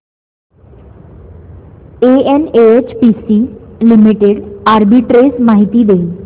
NHPC limited arbitrage माहिती दे